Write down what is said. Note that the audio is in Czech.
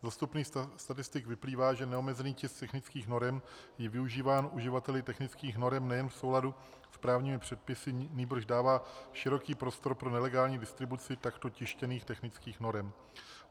Z dostupných statistik vyplývá, že neomezený tisk technických norem je využíván uživateli technických norem nejen v souladu s právními předpisy, nýbrž dává široký prostor pro nelegální distribuci takto tištěných technických norem.